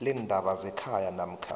leendaba zekhaya namkha